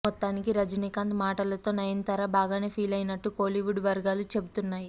మొత్తానికి రజినీకాంత్ మాటలతో నయనతార బాగానే ఫీలైనట్టు కోలీవుడ్ వర్గాలు చెబుతున్నాయి